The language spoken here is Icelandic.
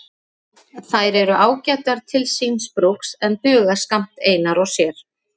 Þær eru ágætar til síns brúks en duga skammt einar og sér.